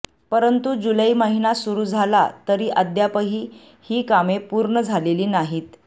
परंतु जुलै महिना सुरू झाला तरी अद्यापही ही कामे पूर्ण झालेली नाहीत